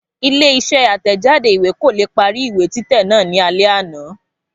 Ilé isé àtẹ̀jáde ìwé kò leè parí ìwé títẹ̀ náà ní alé àná